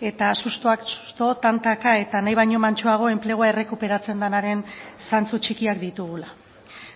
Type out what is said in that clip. eta sustoak sustoa tantaka eta nahi baino mantsoago enplegua errekuperatzen denaren zantzu txikiak ditugula